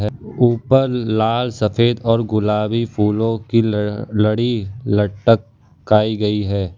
ऊपर लाल सफेद और गुलाबी फूलो की ल लड़ी लट काई गयी है।